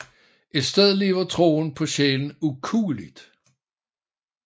Et sted lever troen på sjælen ukueligt